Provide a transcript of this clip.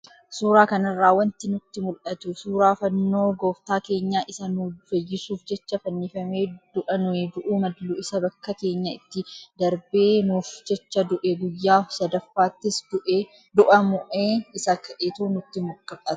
Suuraa kanarraa wanti nutti mul'atu suuraa fannoo gooftaa keenyaa, isa nu fayyisuuf jecha fannifamee, du'a nuyi du'uu mallu isa bakka keenya itti darbee nuuf jecha du'e guyyaa sadaffaattis du'a mo'ee isa ka'etu nutti mul'ata.